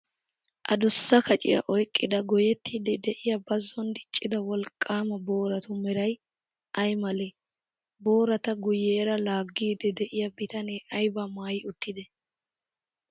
Adussa kaciyaa oyiqqida goyyettiiddi de'iyaa bazzon diccida wolqqaama booratu merayi ayi malee? Boorata guyyera laaggiiddi de'iyaa bitanee ayibaa maayi uttidee?